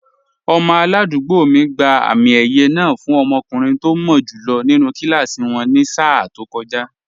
Ọmọ aládùúgbò mi gba àmì ẹ̀yẹ náà fún ọmọkùnrin tó mọ́ jù lọ nínú kíláàsì wọn ní sáà tó kọjá